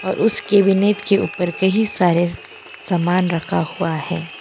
उस कैबिनेट के ऊपर कई सारे सामान रखा हुआ है।